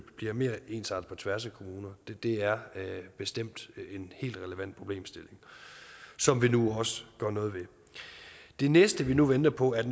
bliver mere ensartet på tværs af kommuner det er bestemt en helt relevant problemstilling som vi nu også gør noget ved det næste vi nu venter på er